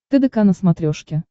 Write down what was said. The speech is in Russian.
тдк на смотрешке